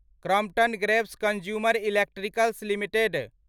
Crompton Greaves consumer electricals limited